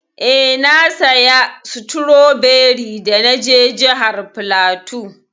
Eh, na saya stroberi da na je jihar flatu.